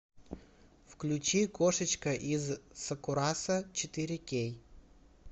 включи кошечка из сакурасо четыре кей